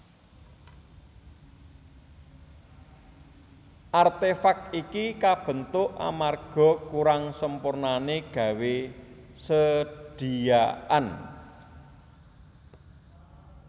Artefak iki kabentuk amarga kurang sempurnané gawé sediaan